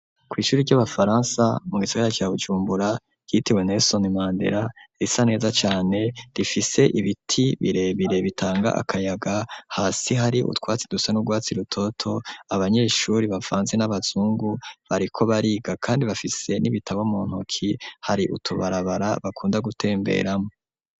Kw'ishuri ry'abafaransa mu gisagara ca Bujumbura ryitewe Nelson Mandera risa neza cane rifise ibiti birebire bitanga akayaga hasi hari utwatsi dusa n'urwatsi rutoto abanyeshuri bavanze n'abazungu bariko bariga kandi bafise n'ibitabo mu ntoki hari utubarabara bakunda gutemberamwo